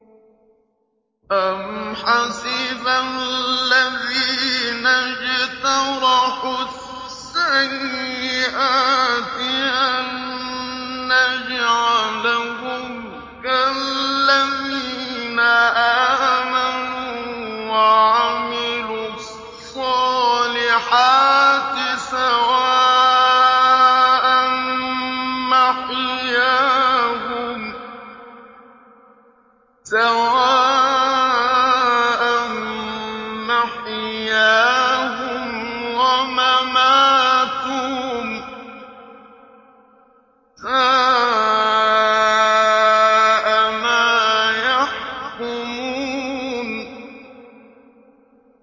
أَمْ حَسِبَ الَّذِينَ اجْتَرَحُوا السَّيِّئَاتِ أَن نَّجْعَلَهُمْ كَالَّذِينَ آمَنُوا وَعَمِلُوا الصَّالِحَاتِ سَوَاءً مَّحْيَاهُمْ وَمَمَاتُهُمْ ۚ سَاءَ مَا يَحْكُمُونَ